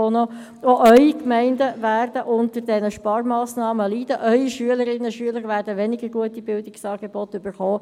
Auch Ihre Gemeinden werden unter diesen Sparmassnahmen leiden, Ihre Schülerinnen werden weniger gute Bildungsangebote erhalten.